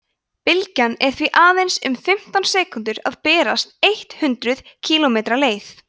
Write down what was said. bylgjan er því aðeins um fimmtán sekúndur að berast eitt hundruð kílómetri leið